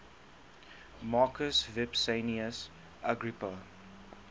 marcus vipsanius agrippa